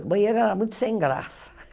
O banheiro era muito sem graça.